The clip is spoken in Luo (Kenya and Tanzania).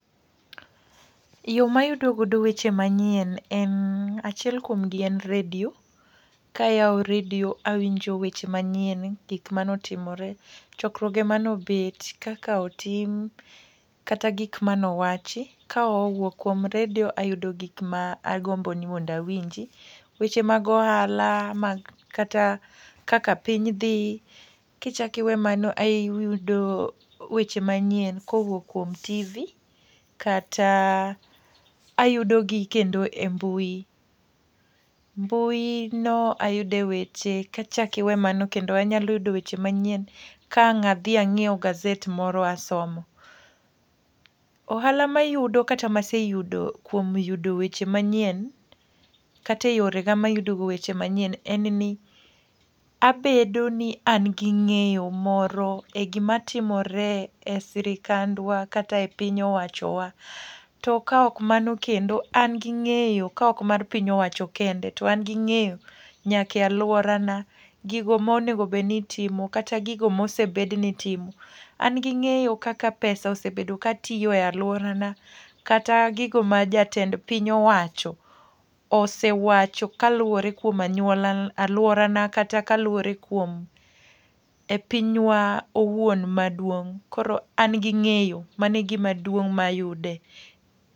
Yo ma ayudo godo weche manyien, en achiel kuomgi en radio, ka ayawo radio awinjo weche manyien, gik mane otimore, chokruoge mane obet, kaka otim kata gik mane owachi. Ka owuok kuom radio ayudo gik ma agombo ni mondo awinji, weche mag ohala, mag, kata kaka piny dhi. Ki chak iwe mano ayudo weche manyien kowuok kuom TV kata ayudo gi kendo e mbui. Mbui no ayude weche, kichak iwe mano kendo anyalo yudo weche manyien kawang' adhi anyiwo gaset moro asomo. Ohala ma iyudo kata ma aseyudo, kuom yudo weche manyien, kata e yore ga mayudo go weche manyien, en ni abedo ni an gi ngéyo moro e gima timore e sirkandwa kata e piny owachowa. To ka ok mano kendo, an gi ngéyo, ka ok mar piny owacho kende, to an gi ngéyo nyaka e alworana. Gigo ma onego bed ni itimo kata gigo mosebedi ni itimo. An gi ngéyo kaka pesa osebedo katiyo e alworana. Kat gigo ma jatend piny owacho, osewacho kaluwore kuom anyuola alworana, kata kaluwore kuom e pinywa owuon maduong'. Koro an gi ngéyo, mano e gima duong' ma ayude.